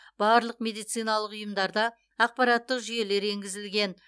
барлық медициналық ұйымдарда ақпараттық жүйелер енгізілген